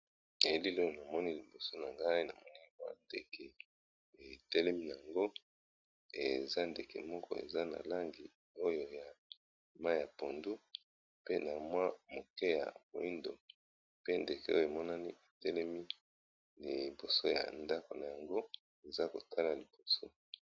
Elili oyo na moni liboso na ngai na moni keya ndeke etelemi na yango eza ndeke moko eza na langi oyo ya mayi ya pondu pe na mwa moke ya moyindo pe ndeke oyo emonani etelemi liboso ya ndako na yango eza kotala liboso.